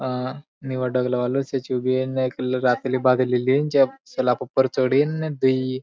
एक निळा डगळा एक रातली बागली ली न सलाक उप्पर चढ़ीन दुई --